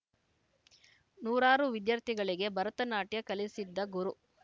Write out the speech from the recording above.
ನೂರಾರು ವಿದ್ಯಾರ್ಥಿಗಳಿಗೆ ಭರತನಾಟ್ಯ ಕಲಿಸಿದ್ದ ಗುರು